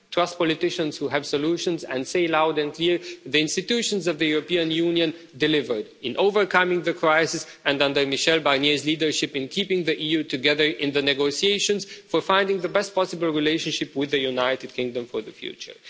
trust politicians who have solutions, and say loud and clear the institutions of the European Union delivered in overcoming the crisis and, under Michel Barnier's leadership, in keeping the EU together in the negotiations for finding the best possible relationship with the United Kingdom for the future.